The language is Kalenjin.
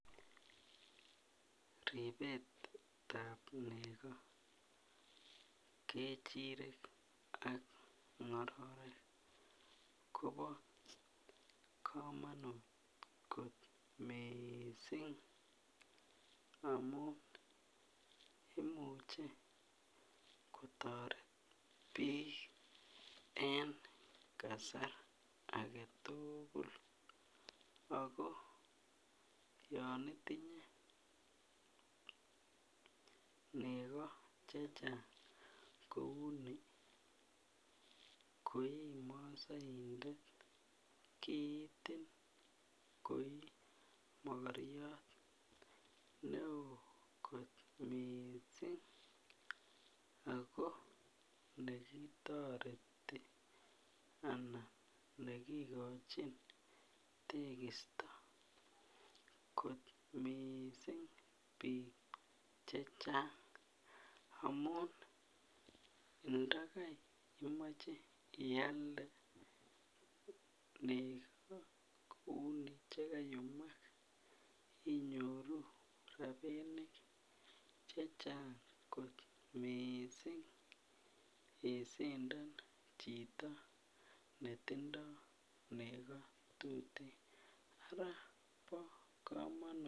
Ripetab neko kechirek ak ngororik Kobo komonut kot missing amun imuche kotoret bik en kasarta agetukul ako yon itinye neko chechang kouni ko imosoindet kiitin ko imokoryot neo kot missing ako nekitoreti ana nekokochi tekisto kot missing bik chechang amun ndakai imoche ialde neko kouni chekayumak inyoru rabinik chechang kot missing isinda chito netindo neko tuten araa bo komonut.